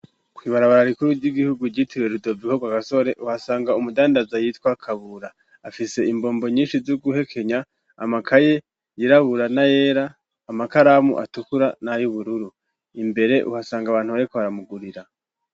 Kw'ibarabara rikuru ry'igihugu ryitiwe Rudoviko kwagasore uhasanga umudandaza yitwa kabura afise imbombo nyinshi zo guhekenya, amakaye yirabura na yera, amakaramu atukura na y'ubururu imbere uhasanga abantu bariko baramugurira.